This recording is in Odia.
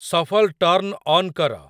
ଶଫଲ୍ ଟର୍ନ୍ ଅନ୍ କର